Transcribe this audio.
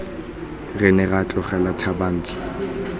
re ne ra tlogela thabantsho